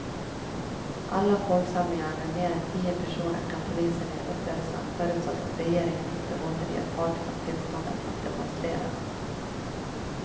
Alla folksamlingar med mer än tio personer kan polisen nu upplösa, förutsatt att regeringen inte återger parterna tillståndet att demonstrera.